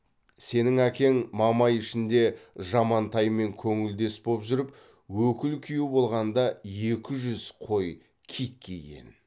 сенің әкең мамай ішінде жамантаймен көңілдес боп жүріп өкіл күйеу болғанда екі жүз қой кит киген